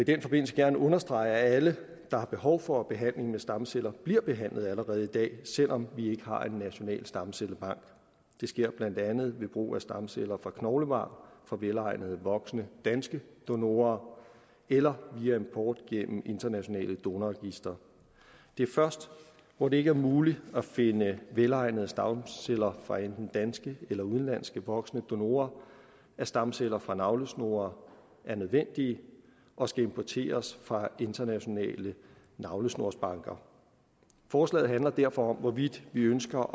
den forbindelse gerne understrege at alle der har behov for behandling med stamceller bliver behandlet allerede i dag selv om vi ikke har en national stamcellebank det sker blandt andet ved brug af stamceller fra knoglemarv fra velegnede voksne danske donorer eller via import gennem internationale donorregistre det er først hvor det ikke er muligt at finde velegnede stamceller fra enten danske eller udenlandske voksne donorer at stamceller fra navlesnore er nødvendige og skal importeres fra internationale navlesnorsbanker forslaget handler derfor om hvorvidt vi ønsker